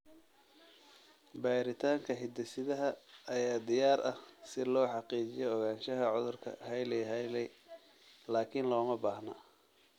Baaritaanka hidde-sidaha ayaa diyaar ah si loo xaqiijiyo ogaanshaha cudurka Hailey Hailey, laakiin looma baahna.